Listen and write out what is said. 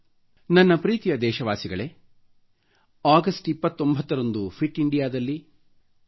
ನನ್ನ ಪ್ರೀತಿಯ ಧೆಶವಾಸಿಗಳೇ ಅಗಷ್ಟ 29 ರಂದು ಫಿಟ್ ಇಂಡಿಯಾ ದಲ್ಲಿ ನಿಮಗಾಗಿ ಕಾಯುತ್ತಿರುವೆನು